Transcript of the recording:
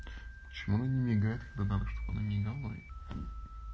почему она не мигает когда надо чтобы она мигала